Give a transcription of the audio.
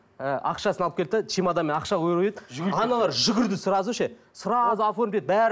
ы ақшасын алып келді де чемоданмен ақша көріп еді аналар жүгірді сразу ше сразу оформить етіп бәрі